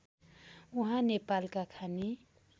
उहाँ नेपालका खानी